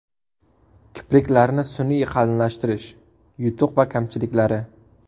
Kipriklarni sun’iy qalinlashtirish: yutuq va kamchiliklari.